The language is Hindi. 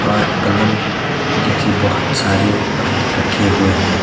और प्लम जैसी बोहोत सारे फल रखे हुए है।